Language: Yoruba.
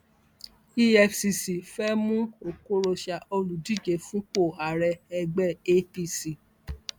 efcc fẹẹ mú oko rocha olùdíje fúnpọ ààrẹ ẹgbẹ apc